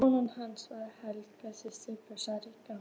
Kona hans var Helga, systir Björns ríka.